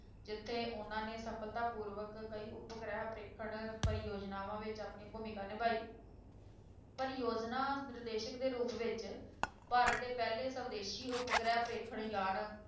ਜਿੱਥੇ ਉਹਨਾਂ ਨੇ ਸਫਲਤਾਪੂਰਵਕ ਕਈ ਉਪਗ੍ਰਹਿ ਪਰੇਖਣ ਪ੍ਰਯੋਜਨਾਵਾਂ ਵਿੱਚ ਆਪਣੀ ਭੂਮਿਕਾ ਨਿਭਾਈ ਪਰਯੋਜਨਾ ਨਿਰਦੇਸ਼ਕ ਦੇ ਰੂਪ ਵਿੱਚ ਭਾਰਤ ਦੇ ਪਹਿਲੇ ਸਵਦੇਸ਼ੀ ਉਪਗ੍ਰਹਿ ਪਰਖੇਣ ਯਾਨ,